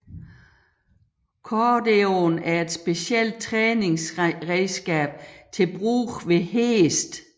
Cordeoen er et specielt træningsredskab til brug ved heste